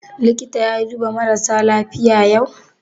Likita ya duba marasa lafiya yau?